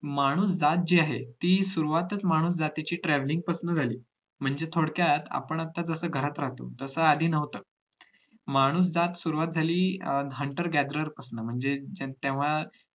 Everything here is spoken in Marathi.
माणूस जात जी आहे ती सुरवातच माणूस जातीची travelling पासून झाली म्हणजे थोडक्यात आपण जसे आता घरात राहतो तसं आधी नव्हतं माणूस जात सुरवात झाली hunter gatherer पासन म्हणजे तेव्हा